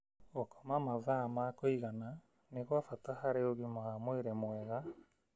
Gũkoma mathaa ma kũigana nĩ gwa bata harĩ ũgima wa mwĩrĩ mwega